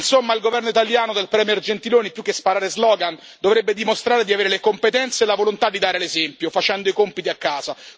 Insomma, il governo italiano del premier Gentiloni più che sparare slogan dovrebbe dimostrare di avere le competenze e la volontà di dare l'esempio, facendo i compiti a casa.